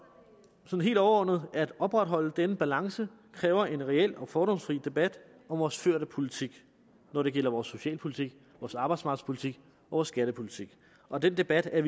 helt overordnet at opretholde denne balance kræver en reel og fordomsfri debat om vores førte politik når det gælder vores socialpolitik vores arbejdsmarkedspolitik og vores skattepolitik og den debat er